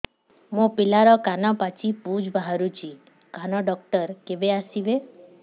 ମୋ ପିଲାର କାନ ପାଚି ପୂଜ ବାହାରୁଚି କାନ ଡକ୍ଟର କେବେ ଆସିବେ